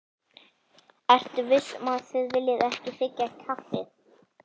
Ertu viss um að þið viljið ekki þiggja kaffi?